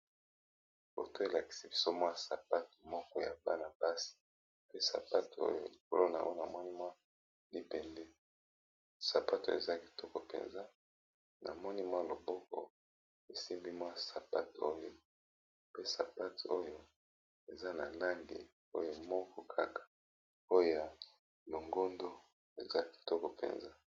Foto oyo balakisi biso sapato ya bana basi likolo nango koza libende eza kitoko namoni loboko esimbi yango eza pe na langi ya longondo